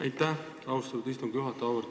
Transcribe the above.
Aitäh, austatud istungi juhataja!